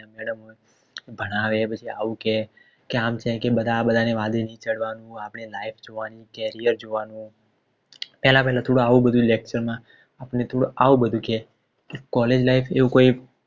ભણાવે પછી આવું કે આમ છે કે આ બધાની વાડેની ચડવાનું આપણે life જોવાની carrier જોવાનું પેહલા પેહલા થોડું એવું બધું lecture માં આવ બધું કે College life